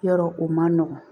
Yɔrɔ o man nɔgɔn